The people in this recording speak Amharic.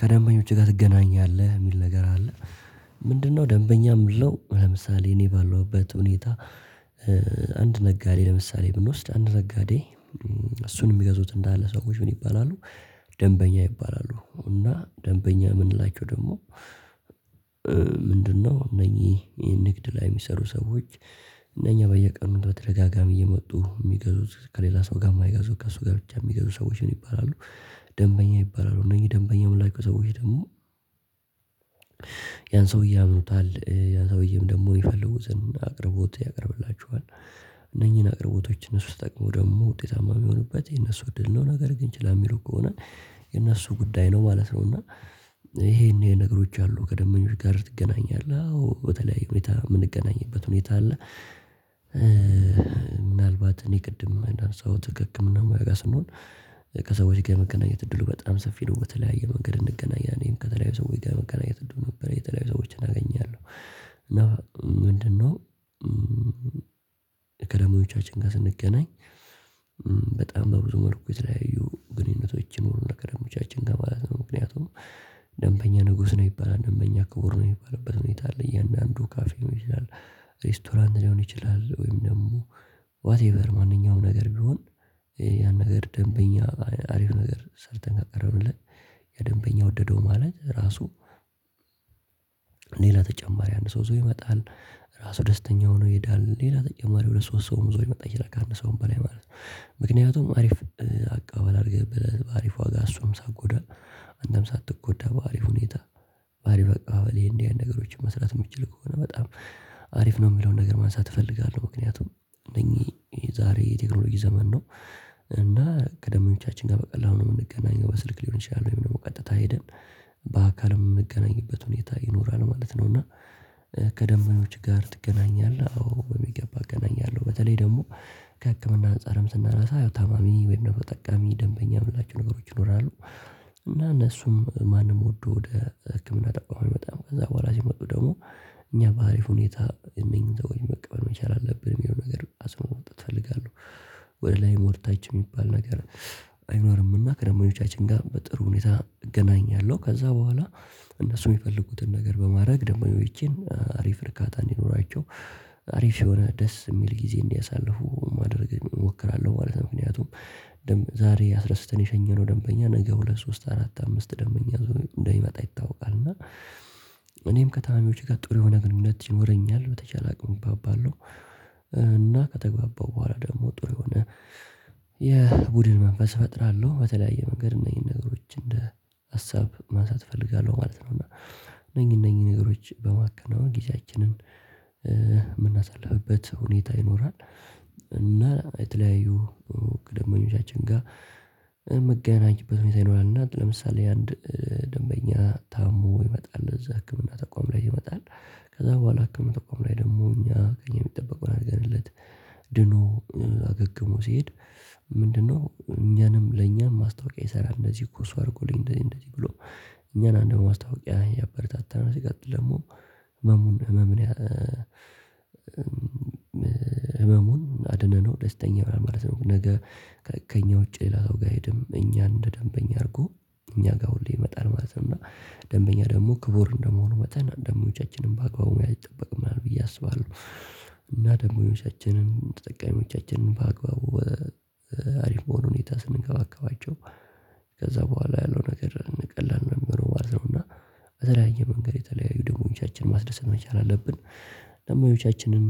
ከደንበኞችህ ጋር ትገናኛለህ? የሚል ነገር አለ። ምንድነው ደንበኛ የምለው ለምሳሌ እኔ ባለሁበት ሁኔታ አንድ ነጋዴ ለምሳሌ ብንወስድ አንድ ነጋዴ እሱን የሚገዙት እንዳለ ሰዎች ምን ይባላሉ ደንበኛ ይባላሉ እና ደንበኛ የምንላቸው ደግሞ ምንድነው እነኚህ ይሄ ንግድ ላይ የሚሰሩ ሰዎች እነኛ በየቀኑ በተደጋጋሚ እየመጡ የሚገዙት ከሌላ ሰው ጋር የማይገዙት ከእሱ ጋር ብቻ የሚገዙ ሰዎችን ይባላሉ። ደንበኛ ይባላሉ። እነኚ ደንበኛ የምንላቸው ሰዎች ደግሞ ያን ሰውዬ ያምኑታል። ያ ሰውዬም ደግሞ የሚፈልጉትን አቅርቦት ያቀርብላቸዋል። እነኚህን አቅርቦቶች እነሱ ሲጠቀሙ ደግሞ ውጤታማ የሚሆኑበት የነሱ እድል ነው። ነገር ግን ችላ የሚሉ ከሆነ የነሱ ጉዳይ ነው ማለት ነው እና ይሄን ይሄ ነገሮች አሉ። ከደንበኞች ጋር ትገናኛለ? አዎ በተለያዩ ሁኔታ የምንገናኝበት ሁኔታ አለ። ምናልባት እኔ ቅድምም አንዳነሳሁት ክህክምና ሙያ ጋር ስንሆን ከሰዎች ጋር የመገናኘት እድሉ በጣም ሰፊ ነው። በተለያዩ መንገድ እንገናኛለን። እኔም ከተለያዩ ሰዎች ጋር የመገናኘት እድሉ ነበረኝ። የተለያዩ ሰዎችን አገኛለሁ። እና ምንድነው ከደምበኞቻችን ጋር ስንገናኝ በጣም በብዙ መልኩ የተለያዩ ግንኙነቶች ይኖሩናል ከደምበኞቻችን ጋር ማለት ነው። ምክንያቱም ደምበኛ ንጉስ ነው ይባላል። በእኛ ክቡር ነው የሚባልበት ሁኔታ አለ። እያንዳንዱ ካፌ ሊሆን ይችላል፤ ሬስቶራንት ሊሆን ይችላል፤ ወይም ደግሞ ዋትኤቨር ማንኛውም ነገር ቢሆን፤ ያን ነገር ደንበኛ አሪፍ ነገር ሰርተን ካቀረብንለት ያ ደንበኛ ወደደው ማለት ራሱ ሌላ ተጨማሪ አንድ ሰው ይዞ ይመጣል። ራሱ ደስተኛ ሆኖ ይሄዳል። ሌላ ተጨማሪ ሁለት ሶስት ሰውም ይዞ ሊመጣ ይችላል ከአንድ ሰውም በላይ ማለት ነው። ምክንያቱም አሪፍ አቀባበል አድርገህበታል በአሪፍ ዋጋ እሱንም ሳትጎዳ። አንተም ሳትጎዳ በአሪፍ ሁኔታ በአሪፍ አቀባ በል ይሄ እንዲህ አይነት ነገሮችን መስራት የምትችል ከሆነ፤ በጣም አሪፍ ነው የሚለውን ነገር ማንሳት እፈልጋለሁ። ምክንያቱም እነኚህ ዛሬ የቴክኖሎጂ ዘመን ነው እና ከደምበኞቻችን ጋር በቀላሉ ነው የምንገናኘው በስልክ ሊሆን ይችላል ወይም ደግሞ ቀጥታ ሄደን በአካል የምገናኝበት ሁኔታ ይኖራል ማለት ነው። እና ከደምበኞችህ ጋር ትገናኛለህ? አዎ በሚገባ እገናኛለሁ። በተለይ ደግሞ ከህክምና አንፃርም ስናናሳ ያው ታማሚ ወይም ደግሞ ተጠቃሚ ደንበኛ የምላቸው ነገሮች ይኖራሉ። እና እነሱም ማንም ወዶ ወደ ህክምና ተቋም አይመጣም። ከዛ በኋላ ሲመጡ ደግሞ እኛ በአሪፍ ሁኔታ እነኚህን ሰዎች መቀበል መቻል አለብን የሚለውን ነገር አጽዕኖት መስጠት እፈልጋለሁ። ወደ ላይም ወደታችም የሚባል ነገር አይኖርምና ከደምበኞቻችን ጋር በጥሩ ሁኔታ እገናኛለሁ። ከዛ በኋላ እነሱ የሚፈልጉትን ነገር በማድረግ ደምበኞቼን አሪፍ እርካታ እንዲኖራቸው፤ አሪፍ የሆነ ደስ የሚል ጊዜ እንዲያሳልፉ ማድረግ እሞክራለሁ ማለት ነው። ምክንያቱም ዛሬ አስደስተን የሸኘነው ደንበኛ ነገ ሁለት ሶስት አራት አምስት ደንበኛ ይዞ እንደሚመጣ ይታወቃል እና እኔም ከታማሚዎቼ ጋር ጥሩ የሆነ ግንኙነት ይኖረኛል። በተቻለ አቅም እግባባለሁ እና ከተግባባሁ በኋላ ደግሞ ጥሩ የሆነ የቡድን መንፈስ እፈጥራለሁ። በተለያየ መንገድ እነኚን ነገሮች እንደ ሀሳብ ማንሳት እፈልጋለሁ ማለት ነው እና እነኚ እነኚን ነገሮች በማከናወን ጊዜያችንን የምናሳልፍበት ሁኔታ ይኖራል እና የተለያዩ ከደምበኞቻችን ጋር የምንገናኝበት ሁኔታ ይኖራል እና ለምሳሌ አንድ ደንበኛ ታሞ ይመጣል እዛ ህክምና ተቋም ላይ ይመጣል። ከዛ በኋላ ህክምና ተቋም ላይ ደግሞ እኛ ከእኛ የሚጠበቀውን አድርገንለት ድኖ አገግሞ ሲሄድ ምንድነው እኛንም ለእኛም ማስታወቂያ ይሰራል። "እንደዚህ እኮ እሱ አድርጎልኝ" እንደዚህ እንደዚህ ብሎ እኛን አንድ ማስታወቂያ ያበረታታናል። ሲቀጥል ደግሞ ህመምን ህመሙን አድነነው ደስተኛ ይሆናል ማለት ነው ነገ ከእኛ ውጪ ሌላ ሰው ጋር አይሄድም። እኛን እንደ ደንበኛ አድርጎ እኛ ጋር ሁሌ ይመጣል ማለት ነው። እና ደንበኛ ደግሞ ክቡር እንደመሆኑ መጠን አንዳንዶቻችንም በአግባቡ መያዝ ይጠበቅብናል ብዬ አስባለሁ። እና ደግሞ የውነታችንን ተጠቃሚዎቻችንን በአግባቡ አሪፍ በሆነ ሁኔታ ስንንከባከባቸው ከዛ በኋላ ያለው ነገር ቀላል ነው የሚሆነው ማለት ነው። እና በተለያየ መንገድ የተለያዩ ደምበኞቻችንን ማስደሰት መቻል አለብን። ደንበኞቻችንን